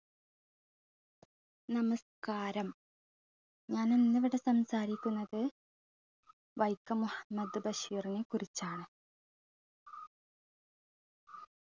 നമസ്ക്കാരം ഞാനിന്നിവിടെ സംസാരിക്കുന്നത് വൈക്കം മുഹമ്മദ് ബഷീറിനെ കുറിച്ചാണ്